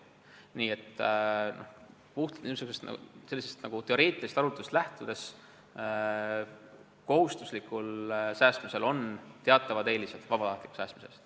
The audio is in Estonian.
Nii et puhtalt teoreetilisest arutelust lähtudes on kohustuslikul säästmisel teatavad eelised vabatahtliku säästmise ees.